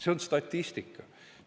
See on statistika.